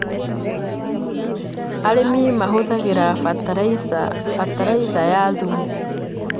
Arĩmi mahũthagĩra bataraitha ya thumu.